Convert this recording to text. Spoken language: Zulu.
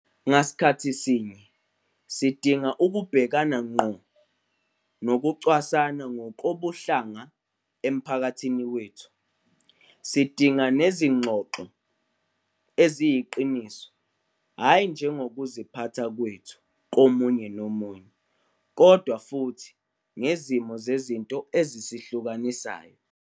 Ngasikhathi sinye, sidinga ukubhekana ngqo nokucwasana ngokobuhlanga emphakathini wethu. Sidinga nezingxoxo eziyiqiniso hhayi nje ngokuziphatha kwethu komunye nomunye, kodwa futhi ngezimo zezinto ezisihlukanisayo.